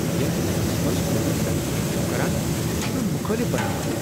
یتھ لہجس منٛز تہۍ مےٚ تنقید چھوٕ کران سہ چھ مےٚ مخٲلف بناوان۔